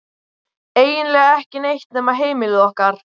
Eiginlega ekki neitt nema heimili okkar.